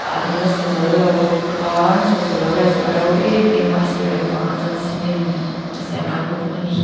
anla sa zo lo bawk a an sak zawh loh lai saw a ro em em a a sir lampangah chuan cement a siam kan hmu bawk ani.